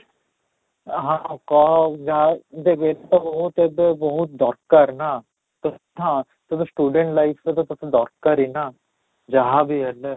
ହଁ, ହଁ, କହ ଯାହା ଦେଖ ତୋତେ ବହୁତ ଏବେ ବହୁତ ଦରକାର ନା ତ ହଁ ତେବେ student life ରେ ତ ତୋତେ ଦରକାର ହିଁ ନା, ଯାହାବି ହେଲେ